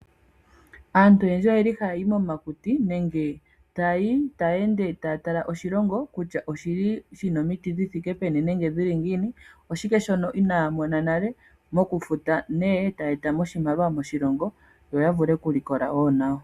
Aantu oyendji oyeli haya yi momakuti nenge taya ende taya tala oshilongo kutya oshili shina omiti dhi thike peni nenge dhili ngiini, oshike shono inaamona nale mokufuta ne etaya etamo oshimaliwa moshilongo yo yavule oku likola wo nayo.